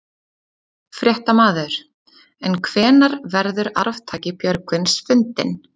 Fréttamaður: En hvenær verður arftaki Björgvins fundinn?